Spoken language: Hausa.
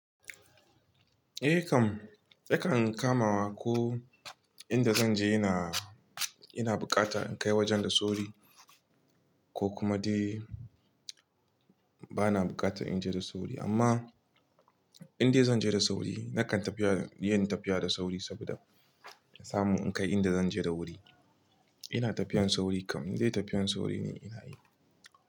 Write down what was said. Eh kam, yakan kamawa ko inda zan je ina, ina bukata in kai wajen da sauri ko kuma dai bana bukata in je da sauri. Amma in dai zan je da sauri nakan tafiya, yin tafiya da sauri saboda na samu in kai inda zan je da wuri. Ina tafiyan sauri kam, indai tafiyan sauri ne ina yi.